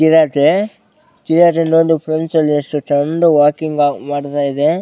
ಚಿರತೆ ಚಿರತೆ ಎಷ್ಟು ಚೆಂದ ವಾಕಿಂಗ್ ಮಾಡ್ತಾ ಇದೆ .